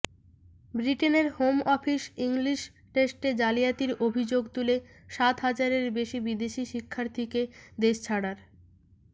ব্রিটেনের home office English টেস্টে জালিয়াতির অভিযোগ তুলে সাত হাজারের বেশি বিদেশি শিক্ষার্থীকে দেশ ছাড়ার